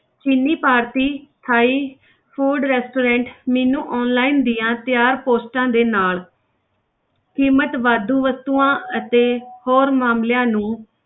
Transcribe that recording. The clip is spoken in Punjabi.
ਚੀਨੀ ਭਾਰਤੀ ਥਾਈ food restaurant menu online ਦੀਆਂ ਤਿਆਰ posts ਦੇ ਨਾਲ ਕੀਮਤ ਵਾਧੂ ਵਸਤੂਆਂ ਅਤੇ ਹੋਰ ਮਾਮਲਿਆਂ ਨੂੰ